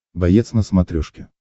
боец на смотрешке